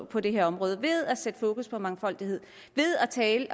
på det her område ved at sætte fokus på mangfoldighed ved at tale